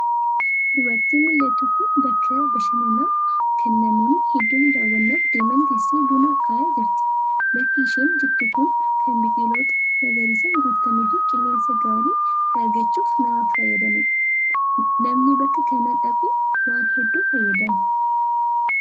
Dubartiin mul'attu kunbakka bashannanaa kan namoonni hedduun daawwannaaf deeman teessee buna akaayaa jirti. Bakki isheen jirtu sun kan biqiloota magariisaan guutamee fi qilleensa gaarii ta'e argachuuf nama fayyadanidha. Namni bakka kana dhaqu waan hedduu fayyadama.